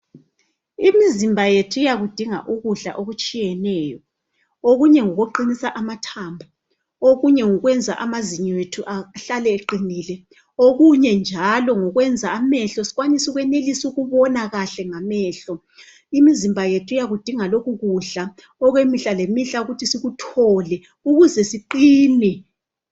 Imizimba yethu iyakudinga ukudla okutshiyeneyo okunye ngokuqinisa amathambo okunye ngokwenza amazinyo ethu ahlale eqinile okunye njalo ngokwenza amehlo sikwanise ukwenelisa ukubona kahle ngamehlo imizimba yethu iyakudinga lokhu kudla okwemihla lemihla ukuthi sikuthole ukuze siqine.